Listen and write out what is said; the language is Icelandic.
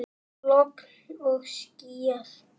Logn og skýjað.